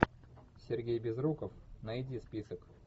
сергей безруков найди список